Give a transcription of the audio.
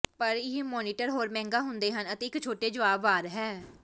ਪਰ ਇਹ ਮਾਨੀਟਰ ਹੋਰ ਮਹਿੰਗਾ ਹੁੰਦੇ ਹਨ ਅਤੇ ਇੱਕ ਛੋਟੇ ਜਵਾਬ ਵਾਰ ਹੈ